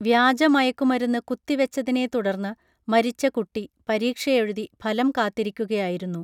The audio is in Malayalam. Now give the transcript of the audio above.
വ്യാജ മയക്കുമരുന്ന് കുത്തി വച്ചതിനെ തുടർന്നു മരിച്ച കുട്ടി പരീക്ഷയെഴുതി ഫലം കാത്തിരിക്കുകയായിരുന്നു